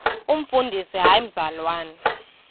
umfundisi hayi mzalwana